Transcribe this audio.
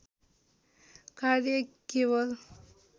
कार्य केवल